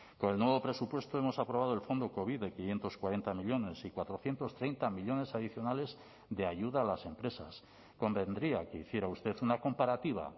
con el nuevo presupuesto hemos aprobado el fondo covid de quinientos cuarenta millónes y cuatrocientos treinta millónes adicionales de ayuda a las empresas convendría que hiciera usted una comparativa